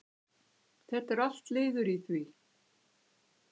Þetta er allt liður í því?